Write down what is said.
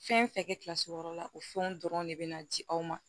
Fɛn fɛn kɛ kilasi wɔɔrɔ la o fɛnw dɔrɔn de bɛ na ji aw ma